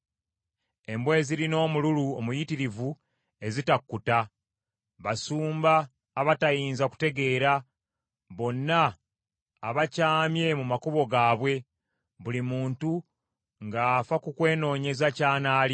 Embwa ezirina omululu omuyitirivu ezitakkuta. Basumba abatayinza kutegeera, bonna abakyamye mu makubo gaabwe; buli muntu ng’afa ku kwenoonyeza ky’anaalya.